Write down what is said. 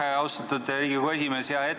Aitäh, austatud Riigikogu esimees!